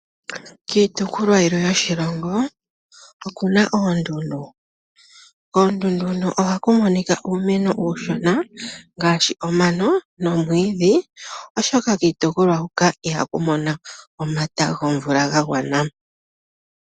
Kiitukulwa yilwe yoshilongo oku na oondundu, koondundu huno oha ku moni ka uumeno uushona ngaashi: omano nomwiidhi oshoka kiitukulwa huka iha ku mono omata gomvula ga gwana.